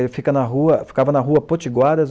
Ele ficava na rua, ficava na rua Potiguaras,.